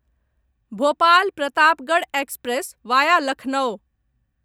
Bhopal Pratapgarh express via Lucknow